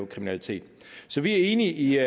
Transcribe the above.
kriminalitet så vi er enige